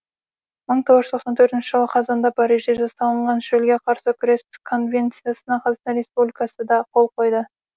мың тоғыз жүз тоқсан төртінші жылы қазанда парижде жасалынған шөлге қарсы күрес конвенциясына қазақстан республикасы да қол қойды